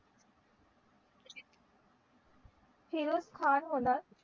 फिरोझ खान होणार